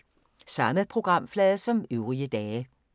Samme programflade som øvrige dage